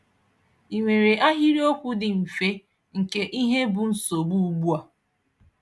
I nwere ahịrịokwu dị mfe nke ihe bụ nsogbu ugbua.